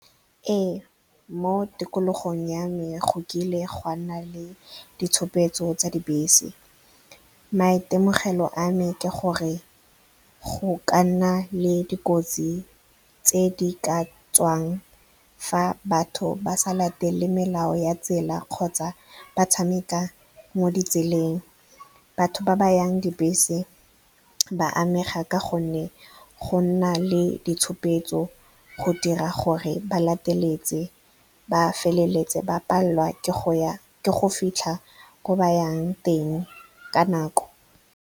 Ee, mo tikologong ya me go kile ga nna le ditshupetso tsa dibese. Maitemogelo a me ke gore go ka nna le dikotsi tse di ka tswang fa batho ba sa latele melao ya tsela kgotsa ba tshameka mo ditseleng. Batho ba ba yang dibese ba amega ka gonne go nna le ditshupetso go dira gore ba lateletse. Ba feleletsa ba palelwa ke go fitlha ko ba yang teng ka nako.